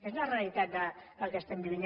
és la realitat del que estem vivint